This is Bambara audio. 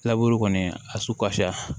laburu kɔni a su kasa